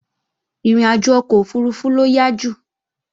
Ìrìnàjò ọkọ̀ òfurufú ló yá jù